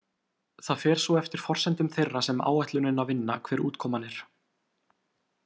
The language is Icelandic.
Það fer svo eftir forsendum þeirra sem áætlunina vinna hver útkoman er.